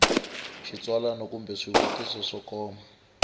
xitsalwana kumbe swivutiso swo koma